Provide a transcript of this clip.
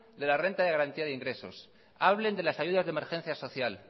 de la renta de garantía de ingresos hablen de las ayudas de emergencia social